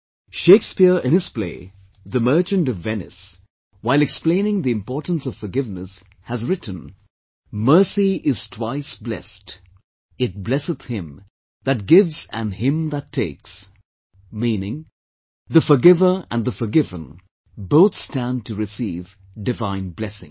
Shakespeare in his play, "The Merchant of Venice", while explaining the importance of forgiveness, has written, "Mercy is twice blest, It blesseth him that gives and him that takes," meaning, the forgiver and the forgiven both stand to receive divine blessing